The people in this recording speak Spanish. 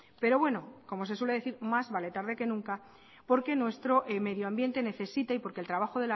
pero bueno como se suele decir más vale tarde que nunca porque nuestro medio ambiente necesita y porque el trabajo